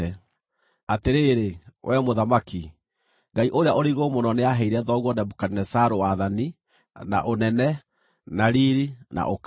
“Atĩrĩrĩ, wee mũthamaki, Ngai-Ũrĩa-ũrĩ-Igũrũ-Mũno nĩaheire thoguo Nebukadinezaru wathani, na ũnene, na riiri, na ũkaru.